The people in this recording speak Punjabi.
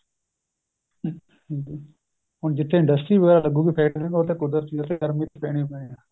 ਹੁਣ ਜਿਥੇ industry ਵਗੇਰਾ ਲੱਗੂਗੀ ਕੁਦਰਤੀ ਏਹ ਗਰਮੀ ਪੈਣੀ ਓ ਪੈਣੀ ਏ